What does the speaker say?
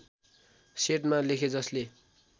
सेटमा लेखे जसले